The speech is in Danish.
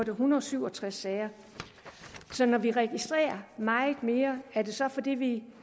en hundrede og syv og tres sager når vi registrerer meget mere er det så fordi vi